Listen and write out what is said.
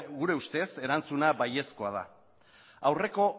gure ustez erantzuna baiezkoa da aurreko